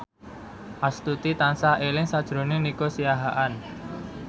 Astuti tansah eling sakjroning Nico Siahaan